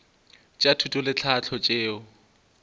tša thuto le tlhahlo tšeo